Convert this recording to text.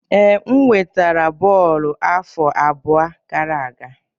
Ee, m wetara bọọlụ afọ abụọ gara aga